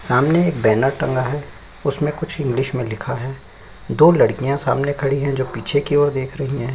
सामने एक बैनर टंगा हैं उसमे कुछ इंग्लिश मे लिखा हैं दो लड़किया सामने खड़ी हैं जो पीछे की ओर देख रही हैं।